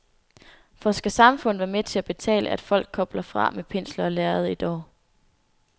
For skal samfundet være med til at betale, at folk kobler fra med pensel og lærred et år?